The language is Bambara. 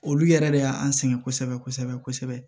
Olu yɛrɛ de y'an sɛgɛn kosɛbɛ kosɛbɛ